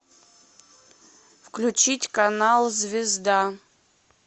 включить канал звезда